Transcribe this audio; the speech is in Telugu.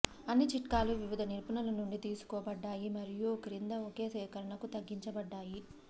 అన్ని చిట్కాలు వివిధ నిపుణుల నుండి తీసుకోబడ్డాయి మరియు క్రింద ఒకే సేకరణకు తగ్గించబడ్డాయి